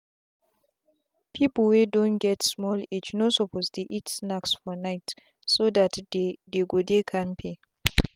people wey don get small age no suppose dey eat snacks for nightso that they dey go dey kampe.